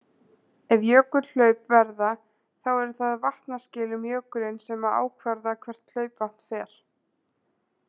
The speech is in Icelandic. Ef jökulhlaup verða þá eru það vatnaskil um jökulinn sem að ákvarða hvert hlaupvatn fer.